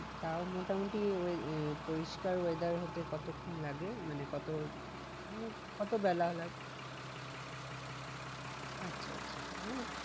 তাও মোটামুটি আহ পরিষ্কার weather হতে কতক্ষন লাগে? মানে কত মানে কত বেলা আচ্ছা আচ্ছা মানে